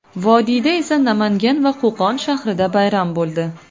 Vodiyda esa Namangan va Qo‘qon shahrida bayram bo‘ldi.